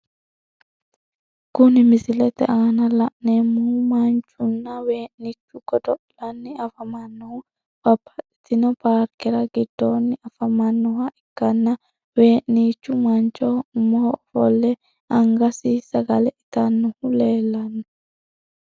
Kuni misilete aana la`nemohu manchuna wee`nichu godo`lani afamanohu babaxitino paarkera giddooni afamanoha ikkana wee`nichu manchoho umoho ofole angasini sagale itanohu leelano.